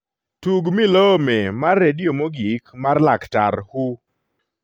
tug milome mar redio mogik mar laktar who